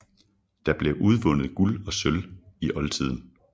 Der blev udvundet Guld og sølv i oldtiden